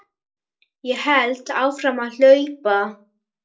Ég hélt áfram að hlaupa.